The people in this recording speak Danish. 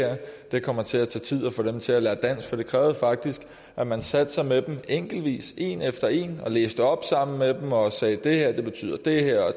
det kommer til at tage tid at få dem til at lære dansk for det krævede faktisk at man satte sig med dem enkeltvis en efter en og læste op sammen med dem og sagde at det her betyder det her og